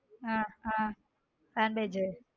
ஹம் ஹம் .